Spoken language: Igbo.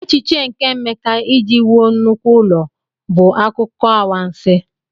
Echiche nke Emeka iji wuo nnukwu ụlọ bụ akụkọ anwansi..